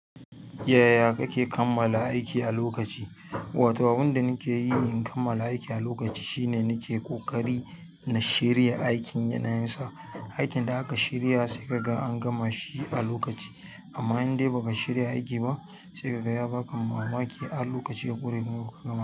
Yaya kake kammala aiki a lokaci? Wato abin da nake yi in kammala aiki a lokaci shine nike ƙoƙari na shirya aikin yanayin sa. Aikin da aka shirya sai kaga an gama shi a lokaci. Amma in dai baka shirya aiki ba, sai kaga ya baka wans mamaki har lokaci ya gudu ya bar maka.